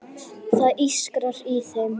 Það ískrar í þeim.